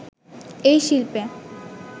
এই শিল্পে